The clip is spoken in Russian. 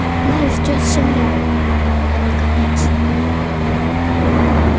нас ждёт земля а не конец